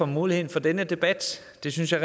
mulighed for denne debat det synes jeg